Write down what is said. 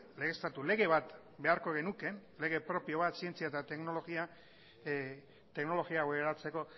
legeztatu lege bat beharko genuke lege propio bat zientzia eta teknologia teknologia hau eratzeko